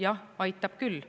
Jah, aitab küll.